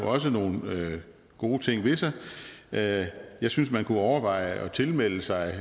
også har nogle gode ting ved sig jeg jeg synes man kunne overveje at tilmelde sig